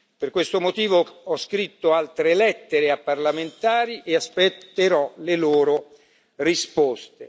Per questo motivo ho scritto altre lettere a parlamentari e aspetterò le loro risposte.